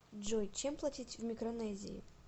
джой чем платить в микронезии